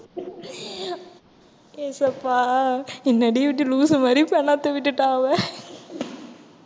இயேசப்பா என்னடி இப்படி loose உ மாதிரி பெனாத்த விட்டுட்டான் அவன்